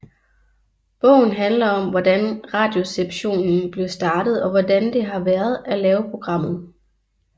Bogen handler om hvordan Radioresepsjonen blev startet og hvordan det har været at lave programmet